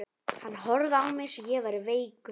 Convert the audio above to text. Hann horfði á mig eins og ég væri veikur.